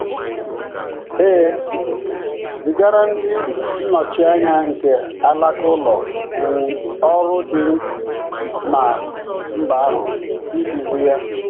E zigara ndị nnọchianya nke alaka ụlọ um ọrụ dị ná mba ahụ iduzi ya.